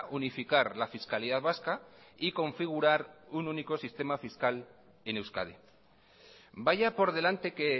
unificar la fiscalidad vasca y configurar un único sistema fiscal en euskadi vaya por delante que